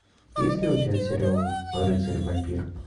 есть ли у тебя сериал рыцарь вампир